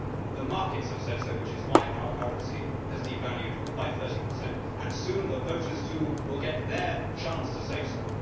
The markets have said so, which is why our currency has devalued by 30, and soon the voters, too, will get their chance to say so.